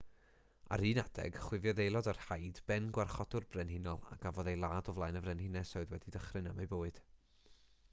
ar un adeg chwifiodd aelod o'r haid ben gwarchodwr brenhinol a gafodd ei ladd o flaen y frenhines oedd wedi dychryn am ei bywyd